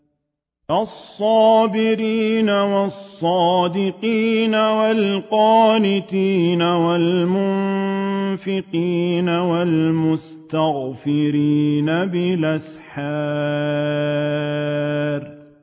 الصَّابِرِينَ وَالصَّادِقِينَ وَالْقَانِتِينَ وَالْمُنفِقِينَ وَالْمُسْتَغْفِرِينَ بِالْأَسْحَارِ